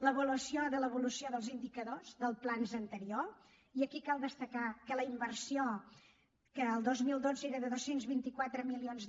l’avaluació de l’evolució dels indicadors dels plans anteriors i aquí cal destacar que la inversió que el dos mil dotze era de dos cents i vint quatre milions